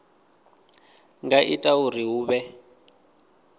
nga ita uri hu vhe